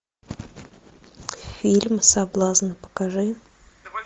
фильм соблазн покажи